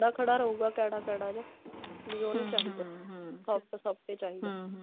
ਖੜਾ ਖੜਾ ਰਹੂਗਾ ਕੈੜਾ ਕੈੜਾ ਜਿਹਾ ਵੀ ਉਹ ਨਹੀਂ ਚਾਹਿਦਾ soft soft ਹੀ ਚਾਹਿਦਾ